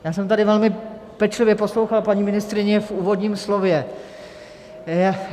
Já jsem tady velmi pečlivě poslouchal paní ministryni v úvodním slově.